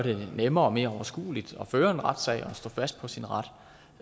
nemmere og mere overskueligt at føre en retssag og stå fast på sin ret